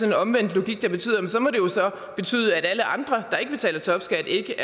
en omvendt logik betyder at så må alle andre der ikke betaler topskat ikke